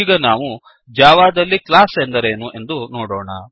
ಈಗ ನಾವು ಜಾವಾದಲ್ಲಿ ಕ್ಲಾಸ್ ಎಂದರೇನು ಎಂದು ನೋಡೋಣ